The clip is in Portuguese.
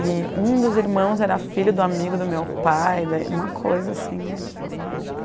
E um dos irmãos era filho do amigo do meu pai, daí, uma coisa assim de outro planeta.